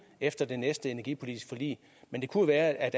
efter det næste energipolitiske forlig men det kunne være at